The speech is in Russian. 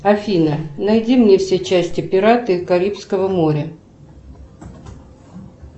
афина найди мне все части пираты карибского моря